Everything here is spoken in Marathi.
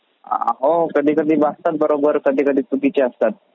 हो कधी कधी वाटतात बरोबर कधी कधी चुकीचे असतात